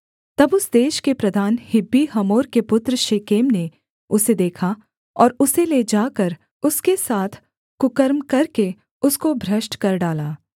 तब उस देश के प्रधान हिब्बी हमोर के पुत्र शेकेम ने उसे देखा और उसे ले जाकर उसके साथ कुकर्म करके उसको भ्रष्ट कर डाला